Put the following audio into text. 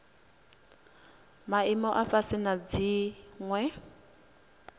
maimo a fhasi na dziwe